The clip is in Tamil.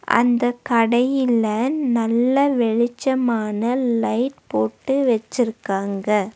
அந்தக் கடையில நல்ல வெளிச்சமான லைட் போட்டு வச்சிருக்காங்க.